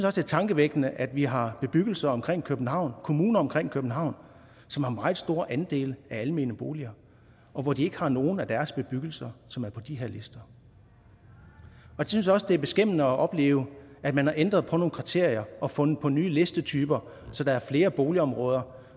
er tankevækkende at vi har bebyggelser omkring københavn kommuner omkring københavn som har meget store andele af almene boliger og hvor de ikke har nogen af deres bebyggelser som er på de her lister jeg synes også at det er beskæmmende at opleve at man har ændret på nogle kriterier og fundet på nye listetyper så der er flere boligområder